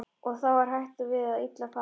Og þá er hætt við að illa fari.